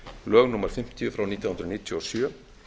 lög númer fimmtíu nítján hundruð níutíu og sjö